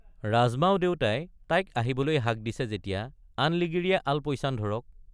ৰাজমাও দেউতাই তাইক আহিবলৈ হাক দিছে যেতিয়া আন লিগিৰিয়ে আলপৈচান ধৰক।